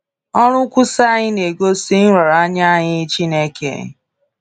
Ọrụ nkwusa anyị na-egosi nraranye anyị nye Chineke.